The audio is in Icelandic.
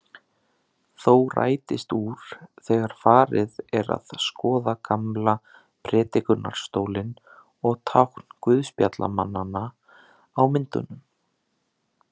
Þó rætist úr þegar farið er að skoða gamla prédikunarstólinn og tákn guðspjallamannanna á myndunum.